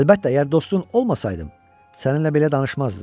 Əlbəttə, əgər dostun olmasaydım, səninlə belə danışmazdım.